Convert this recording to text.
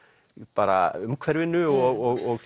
bara umhverfinu og